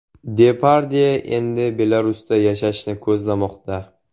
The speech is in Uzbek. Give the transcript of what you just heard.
Depardye endi Belarusda yashashni ko‘zlamoqda.